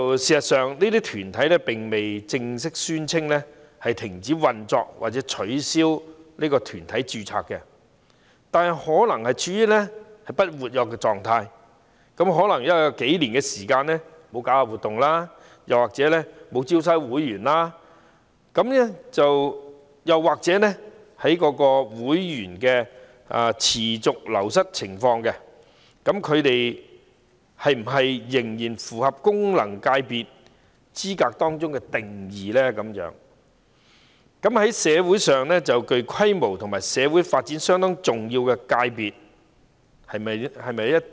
事實上，這些團體並未正式宣稱停止運作或取消團體註冊，但可能處於不活躍的狀態，有數年時間沒有舉辦活動或招收會員，又或有會員持續流失的情況，那麼是否仍然符合功能界別的資格定義，即"在社會上具規模及社會發展相當重要的界別"？